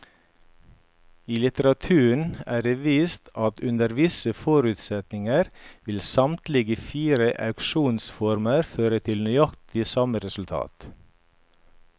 I litteraturen er det vist at under visse forutsetninger vil samtlige fire auksjonsformer føre til nøyaktig samme resultat.